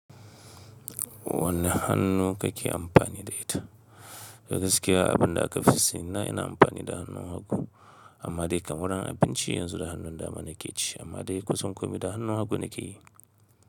Wane hannu kake amfani da ita? Ga gaskiya, abin da aka fi sanna ina amfani da hannun hagu, amma dai kamar an bincie yanzu da hannun dama nake ci, amma dai kusan komai da hannun hagu nake yi.